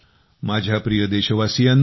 माझ्या प्रिय देशवासियांनो